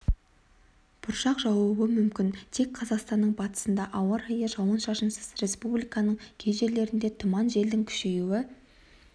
бұршақ жаууы мүмкін тек қазақстанның батысында ауа райы жауын-шашынсыз республиканың кей жерлерінде тұман желдің күшеюі